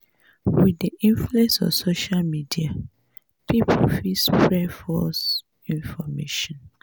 with di influence of social media pipo fit spread false information